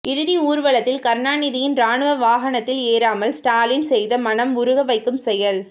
இறுதி ஊர்வலத்தில் கருணாநிதியின் ராணுவ வாகனத்தில் ஏறாமல் ஸ்டாலின் செய்த மனம் உருக வைக்கும் செயல்